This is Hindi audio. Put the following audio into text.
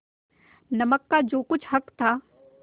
नमक का जो कुछ हक था